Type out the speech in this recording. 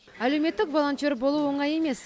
әлеуметік волонтер болу оңай емес